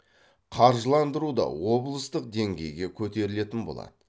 қаржыландыру да облыстық деңгейге көтерілетін болады